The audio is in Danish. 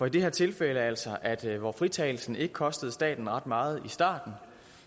i det her tilfælde altså hvor fritagelsen ikke kostede staten ret meget i starten